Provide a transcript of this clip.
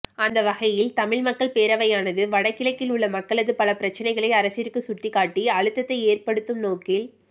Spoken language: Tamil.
அந்தவகையில் தமிழ் மக்கள் பேரவையானது வட கிழக்கில் உள்ள மக்களது பல பிரச்சனைகளை அரசிற்கு சுட்டிக்காட்டி அழுத்தத்தை ஏற்படுத்தும் நோக்கில்